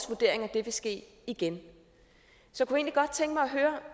vurdering at det vil ske igen så